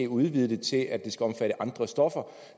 udvide det til at omfatte andre stoffer